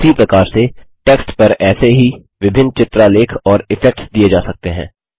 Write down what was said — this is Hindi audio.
उसी प्रकार से टेक्स्ट पर ऐसे ही विभिन्न चित्रालेख और इफेक्ट्स दिये जा सकते हैं